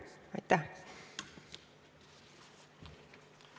Aitäh!